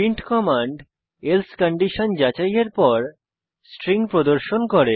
print command else condition যাচাইয়ের পর string প্রদর্শন করে